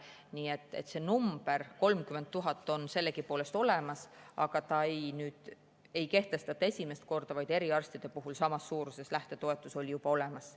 Nii et see number 30 000 on olemas, aga seda ei kehtestata esimest korda, vaid eriarstidel oli samas suuruses lähtetoetus juba olemas.